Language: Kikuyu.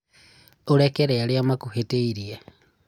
ũrekere arĩa makũhĩtĩirĩe.